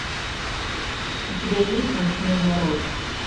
у тебя есть ночной народ